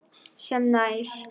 sem nær